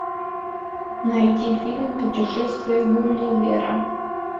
найти фильм путешествие гулливера